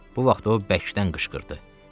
Bu vaxt o bəkdən qışqırdı.